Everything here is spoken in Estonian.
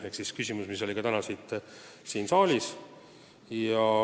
See oli küsimus, mis oli ka täna siin saalis.